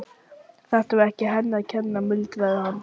Þetta var ekki henni að kenna, muldraði hann.